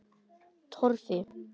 Torfi